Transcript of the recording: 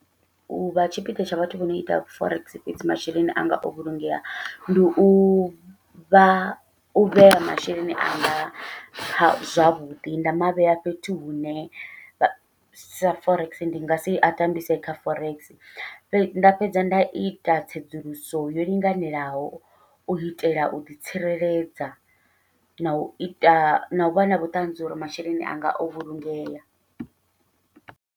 U vha tshipiḓa tsha vhathu vho no ita forex masheleni anga avha o vhulungea, ndi uvha u vhea masheleni anga zwavhuḓi nda mavhea fhethu hune vha sa forex ndi ngasi a tambise kha forex, fhedzi nda fhedza nda ita tsedzuluso yo linganelaho u itela u ḓitsireledza, nau ita nau vha na vhuṱanzi uri masheleni anga o vhulungeya.